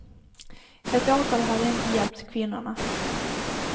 Ett åtal hade inte hjälpt kvinnorna.